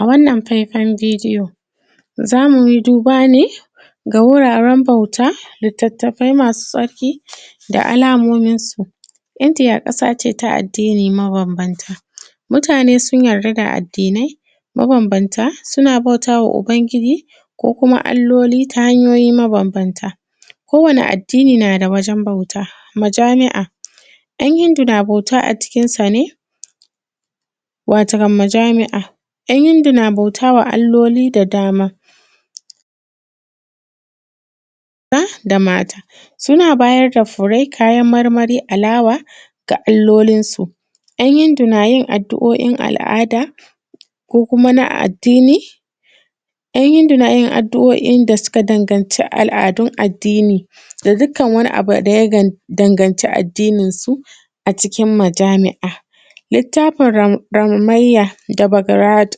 A wannan fefan bidiyo zamuyi duba ne da wuraren bauta liattafai masu tsarki da alamominsu Indiya ƙasa ce ta addini mabanbanta mutane sun yarda da addinai mabambanta, suna bauta ma ubangiji ko kuma alloli mabanbanta kowane addini na da wajen bauta mujamia yan Hindu na bauta a cikinsa ne wato kan majami’a ‘yan Hindu na bauta ma alloli da dama maza da mata suna bayar da fure, kayan marmari da alawa ga alolinsu. ‘Yan Hindu na yin addu’o’in al’ada ko na addini, ‘yan hindu na yin al’adun da suka danaganci addini da dukkan wani abu da ya danaganci addininsu a cikin majami’a, littafin gammayya da barat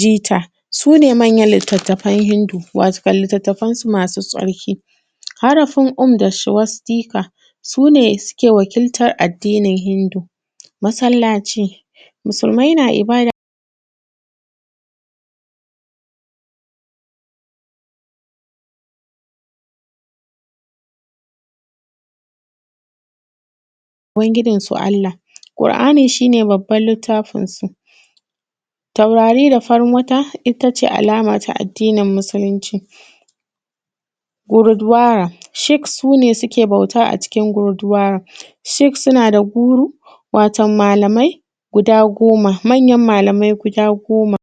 jita su ne manyan littafan hindu wato litattafansu masu tsarki. Harafin Hamadaswastita su ne suke wakiltan addinin hindu, masallaci musulmai na ibada wa ubangijinsu Allah, alƙur’ani shi ne littafinsu taurari da farin wata, sick su ne suke bauta a cikin gudu, sick suna da Guru, watan malamai guda goma manyan malamai guda goma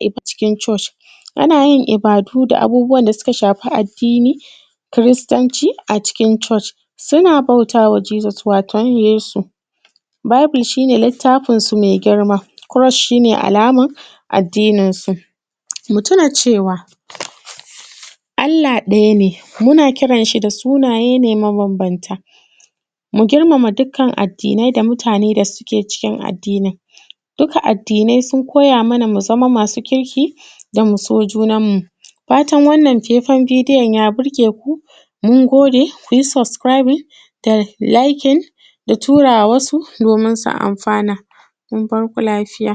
a cikin coci ana yin ibadu da abubuwan da suka shafi addini kiristanci a cikin coci, suna bauta ma Jesus wato Yesu, bible shi ne littafinsu maigirma, kurus shi ne alaman addininsu. Mu tuna cewa Allah ɗaya ne muna kiran shi da sunaye ne mabanbanta, mu girmama dukkanin addini da mutane da ke cikin addinin duka, addinai sun koya mana mu zama masu kirki da mu so junanmu. Fatan wannan fefan bidiyon ya birge ku mun gode ku yi subscribing da liking da tura ma wasu domin su anfana. Mun bar ku lafiya.